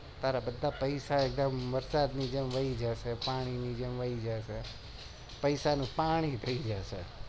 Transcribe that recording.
તારા બધા પેસા વરસાદ ની જેમ વહી જશે પેસા નું પાણી થઇ જશે